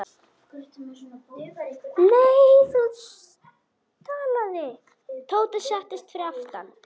Tóti settist fyrir aftan.